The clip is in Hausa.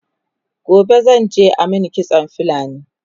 gobe zan je a Mani kitsan fulani